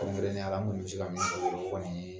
Kɛrɛnkɛrɛnnenya la n kɔni bɛ se ka min fɔ dɔrɔn o kɔni ye